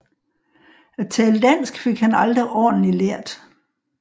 At tale dansk fik han aldrig ordentlig lært